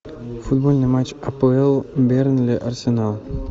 футбольный матч апл бернли арсенал